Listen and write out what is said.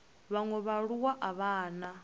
vhaṅwe vhaaluwa a vha na